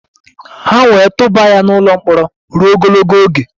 Ha wee tụba ya n' ụlọ mkpọrọ ruo ogologo oge.